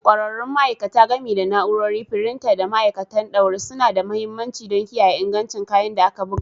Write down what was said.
ƙwararrun ma'aikata, gami da na'urori, firinta, da ma'aikatan ɗaure, suna da mahimmanci don kiyaye ingancin kayan da aka buga.